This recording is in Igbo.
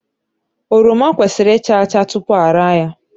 Oroma kwesịrị ịcha acha tupu ara ya.